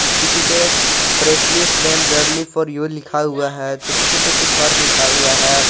किसी पे freshly flame value for you लिखा हुआ है तो किसी पे कुछ और लिखा हुआ है।